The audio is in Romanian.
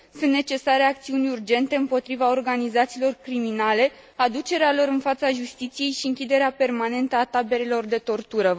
Sunt necesare acțiuni urgente împotriva organizațiilor criminale, aducerea lor în fața justiției și închiderea permanentă a taberelor de tortură.